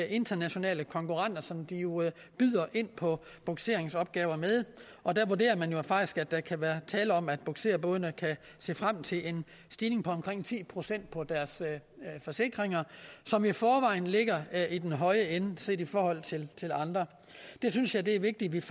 internationale konkurrenter som de jo byder ind på bugseringsopgaver med og der vurderer man jo faktisk at der kan være tale om at bugserbådene kan se frem til en stigning på omkring ti procent på deres forsikringer som i forvejen ligger i den høje ende set i forhold til andre jeg synes at det er vigtigt